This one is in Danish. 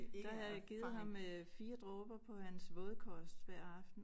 Der har jeg givet ham 4 dråber på hans vådkost hver aften